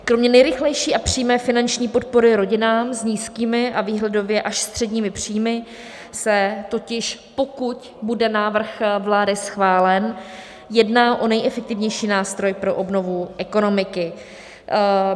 Kromě nejrychlejší a přímé finanční podpory rodinám s nízkými a výhledově až středními příjmy se totiž, pokud bude návrh vlády schválen, jedná o nejefektivnější nástroj pro obnovu ekonomiky.